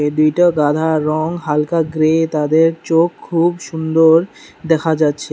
দুইটা গাধার রং হালকা গ্রে তাদের চোখ খুব সুন্দর দেখা যাচ্ছে।